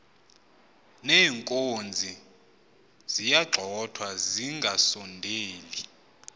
neenkozi ziyagxothwa zingasondeli